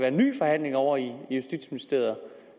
en ny forhandling ovre i justitsministeriet